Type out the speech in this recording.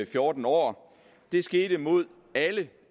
fjorten år skete mod alle